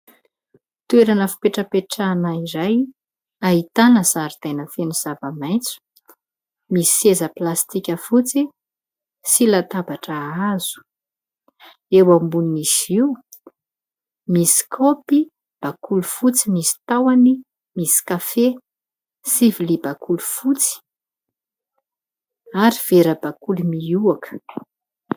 Toerana fipetrapetrahana iray ahitana zaridaina feno zava-maitso, misy seza plastika fotsy sy latabatra hazo, eo ambonin'izy io misy kaopy bakoly fotsy misy tahony misy kafe sy vilia bakoly fotsy ary vera bakoly mihoaka.